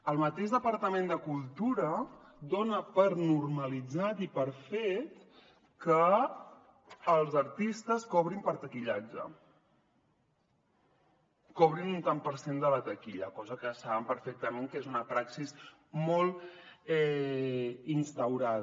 el mateix departament de cultura dona per normalitzat i per fet que els artistes cobrin per taquillatge cobrin un tant per cent de la taquilla cosa que saben perfectament que és una praxi molt instaurada